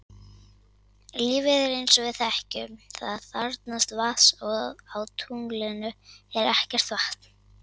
Lífið eins og við þekkjum það þarfnast vatns og á tunglinu er ekkert vatn.